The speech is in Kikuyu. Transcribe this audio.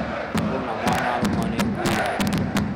Kwĩna mwana warũmwo nĩ ngui yanyu